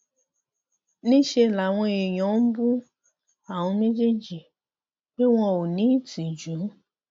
níṣẹ làwọn èèyàn ń bú àwọn méjèèjì pé wọn ò ní ìtìjú